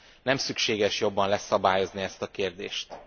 Nem szükséges jobban leszabályozni ezt a kérdést.